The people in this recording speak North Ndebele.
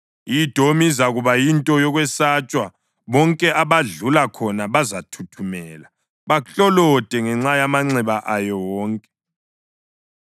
“I-Edomi izakuba yinto yokwesatshwa, bonke abadlula khona bazathuthumela baklolode ngenxa yamanxeba ayo wonke.